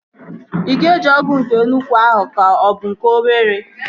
Ị ga-eji ọgụ nke nnukwu ahụ ka ọ bụ nke obere?